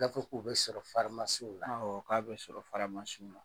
Gafe dɔw bɛ sɔrɔ na k'a bɛ sɔrɔ na .